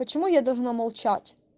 почему я должна молчать